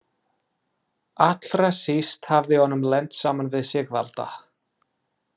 Allra síst hafði honum lent saman við Sigvalda.